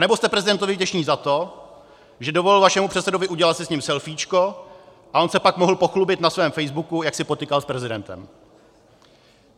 Anebo jste prezidentovi vděční za to, že dovolil vašemu předsedovi udělat si s ním selfíčko a on se pak mohl pochlubit na svém facebooku, jak si potykal s prezidentem.